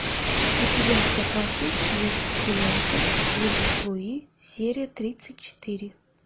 у тебя в запасе есть сериальчик жизнь с луи серия тридцать четыре